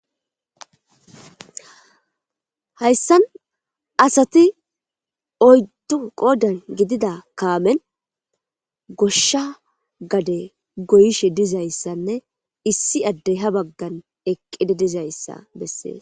Hayssan asati oyddo qodan gidida kaamen goshsha gade goyishe dizayssanne issi addey ha baggan eqqide dizayssa bessees.